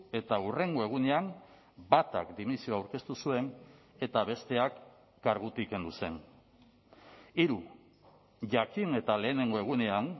eta hurrengo egunean batak dimisioa aurkeztu zuen eta besteak kargutik kendu zen hiru jakin eta lehenengo egunean